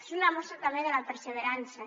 és una mostra també de la perseverança